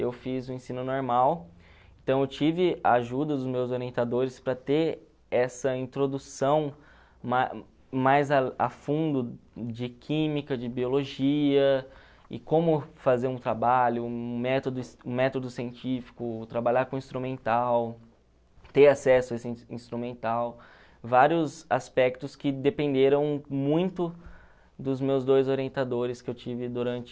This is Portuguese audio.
Eu fiz o ensino normal, então eu tive ajuda dos meus orientadores para ter essa introdução ma mais a a fundo de química, de biologia, e como fazer um trabalho, um método um metodo científico, trabalhar com instrumental, ter acesso a esse instrumental, vários aspectos que dependeram muito dos meus dois orientadores que eu tive durante...